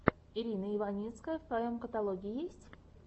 ирина иваницкая в твоем каталоге есть